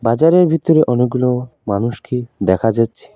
বাজারের ভিতরে অনেকগুলো মানুষকে দেখা যাচ্ছে।